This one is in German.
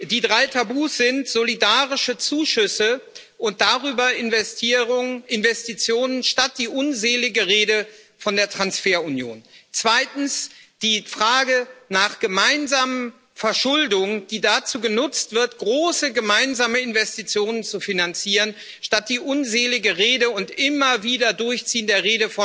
Die drei Tabus sind solidarische Zuschüsse und darüber Investitionen statt der unseligen Rede von der Transferunion, zweitens die Frage nach gemeinsamer Verschuldung, die dazu genutzt wird, große gemeinsame Investitionen zu finanzieren, statt der immer wieder durchgezogenen